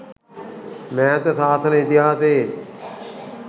මෑත සාසන ඉතිහාසයේ